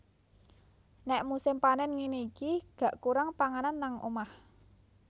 Nek musim panen ngene iki gak kurang panganan nang omah